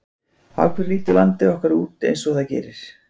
Af hverju lítur landið okkar út eins og það gerir?